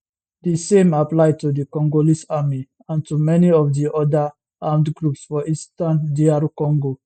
di same apply to di congolese army and to many of di oda armed groups for eastern dr congo